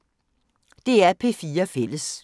DR P4 Fælles